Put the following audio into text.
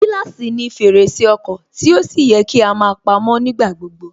Gíláàsì ni fèrèsé ọkọ̀ tí ó sì yẹ kí á máa pamó nígbà gbogbo